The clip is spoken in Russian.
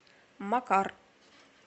макар